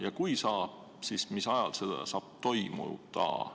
Ja kui saab, siis mis ajal see saab toimuda?